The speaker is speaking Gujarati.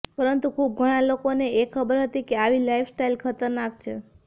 પરંતુ ખુબ ઘણા લોકોને એ ખબર છે કે આવી લાઇફ સ્ટાઇલ ખતરનાક છે